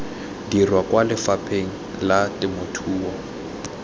dirwa kwa lefapheng la temothuo